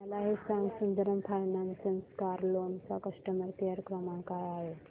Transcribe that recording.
मला हे सांग सुंदरम फायनान्स कार लोन चा कस्टमर केअर क्रमांक काय आहे